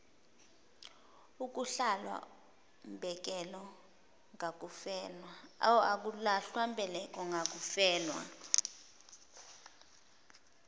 akulahlwa mbeleko ngakufelwa